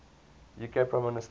uk prime minister